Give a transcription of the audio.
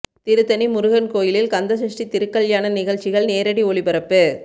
திருத்தணி முருகன் கோயிலில் கந்த சஷ்டி திருக்கல்யாண நிகழ்ச்சிகள் நேரடி ஒளிபரப்பு